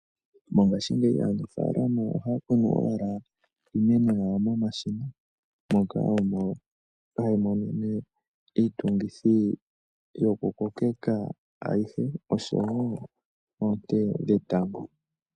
Mongashi ngeyi aanafalama ohakunu owala iimeno yawo momashina moka omo hayi monene iitungithi yoku kokeka ayihe osho wo onte dhetango.